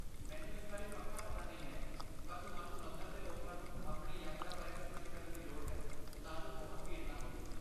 ਮੈਨੂੰ ਇਸ ਬਾਰੇ ਪੱਕਾ ਪਤਾ ਨਹੀਂ ਹੈ ਪਰ ਤੁਹਾਨੂੰ ਮੰਦਰ ਦੇ ਲੋਕਾਂ ਨੂੰ ਆਪਣੀ ਯਾਤਰਾ ਬਾਰੇ ਸੂਚਿਤ ਕਰਨ ਦੀ ਲੋੜ ਹੈ ਤਾਂ ਜੋ ਬਹੁਤ ਭੀੜ ਨਾ ਹੋਵੇ।